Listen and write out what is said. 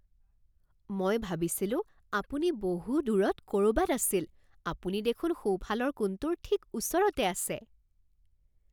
মই ভাবিছিলোঁ আপুনি বহু দূৰত ক'ৰবাত আছিল। আপুনি দেখোন সোঁফালৰ কোণটোৰ ঠিক ওচৰতে আছে